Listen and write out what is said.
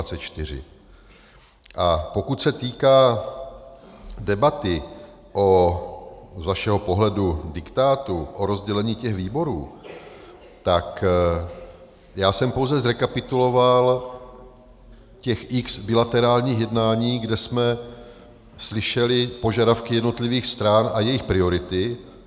A pokud se týká debaty o - z vašeho pohledu - diktátu o rozdělení těch výborů, tak já jsem pouze zrekapituloval těch x bilaterálních jednání, kde jsme slyšeli požadavky jednotlivých stran a jejich priority.